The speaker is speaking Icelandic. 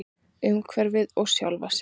Umhverfið og sjálfa sig.